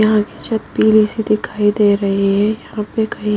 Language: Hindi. यहां की छत पीली सी दिखाई दे रही है यहां पे कहीं--